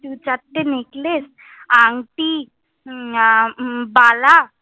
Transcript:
চারটে necklace, আংটি, বালা,